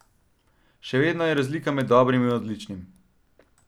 Še vedno je razlika med dobrim in odličnim.